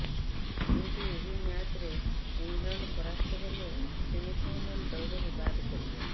କିନ୍ତୁ ଏହି ମ୍ୟାଚରେ ଇଂଲଣ୍ଡ ପରାସ୍ତ ହେଲେ ସେମିଫାଇନାଲ ଦୌଡରୁ ବାଦ ପଡିବ